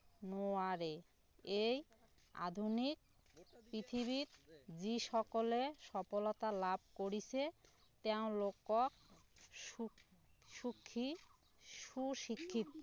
নোৱাৰে এই আধুনিক পৃথিৱীত যি সকলে সফলতা লাভ কৰিছে তেওঁলোকক সুখী সু শিক্ষিত